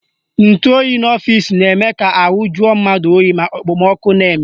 Ntụoyi n'ọfịsi na-eme ka ahụ juo mmadụ oyi ma okpomọkụ na-eme